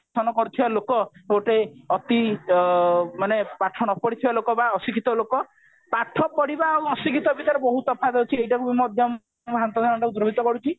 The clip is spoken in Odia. ଶାସନ କରୁଥିବା ଲୋକ ମାନେ ପାଠ ନ ପଢିଥିବା ଲୋକ ବା ଅଶିକ୍ଷିତ ଲୋକ ପାଠ ପଢିବା ଆଉ ଅଶିକ୍ଷିତ ଭିତରେ ବହୁତ ତଫାତ ଅଛି ଏଇଟାକୁ ବି ମଧ୍ୟ ମୁଁ ଭ୍ରାନ୍ତ ଧାରଣା କୁ ଦୂରୀଭୂତ କରୁଛି